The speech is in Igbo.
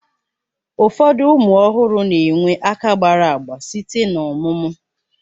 Ụfọdụ ụmụ ọhụrụ na-enwe aka gbara agba site n'ọmụmụ